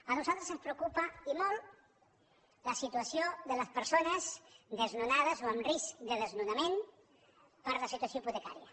a nosaltres ens preocupa i molt la situació de les persones desnonades o amb risc de desnonament per la situació hipotecària